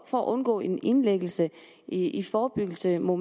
for at undgå en indlæggelse i i forebyggelsesøjemed